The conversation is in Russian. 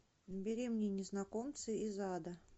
набери мне незнакомцы из ада